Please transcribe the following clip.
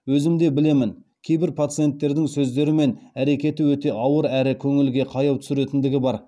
өзімде білемін кейбір пациенттердің сөздері мен әрекеті өте ауыр әрі көңілге қаяу түсіретіндігі бар